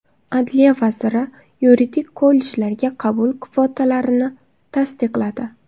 Adliya vaziri yuridik kollejlarga qabul kvotalarini tasdiqladi.